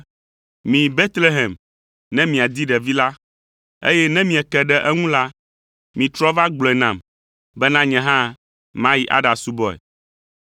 “Miyi Betlehem ne miadi ɖevi la, eye ne mieke ɖe eŋu la, mitrɔ va gblɔe nam bena nye hã mayi aɖasubɔe!”